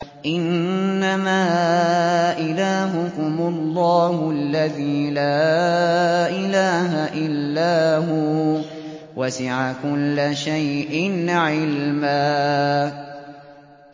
إِنَّمَا إِلَٰهُكُمُ اللَّهُ الَّذِي لَا إِلَٰهَ إِلَّا هُوَ ۚ وَسِعَ كُلَّ شَيْءٍ عِلْمًا